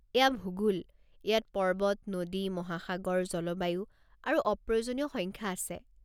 এয়া ভূগোল! ইয়াত পৰ্বত, নদী, মহাসাগৰ, জলবায়ু আৰু অপ্ৰয়োজনীয় সংখ্যা আছে।